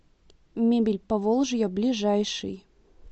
мебель поволжья ближайший